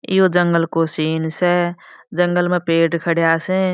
यो जंगल को सीन स जंगल में पेड़ खड़ा स।